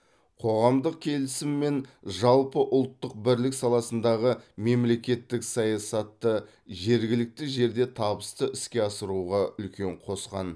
қоғамдық келісім мен жалпыұлттық бірлік саласындағы мемлекеттік саясатты жергілікті жерде табысты іске асыруға үлкен қосқан